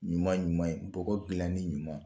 Ɲuman ɲuman ye, bɔgɔ dilanen ɲuman.